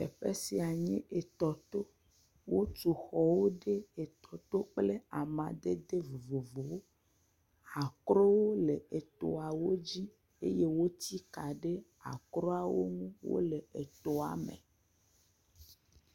Esia enye etɔto, wotu xɔwo ɖe etɔ to kple amadede vovovowo. Akrowo le etɔawo dzi eye wotsi ka ɖe akroawo ŋu wole etɔa me.